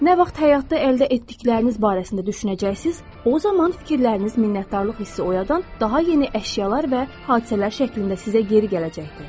Nə vaxt həyatda əldə etdikləriniz barəsində düşünəcəksiniz, o zaman fikirləriniz minnətdarlıq hissi oyadan daha yeni əşyalar və hadisələr şəklində sizə geri gələcəkdir.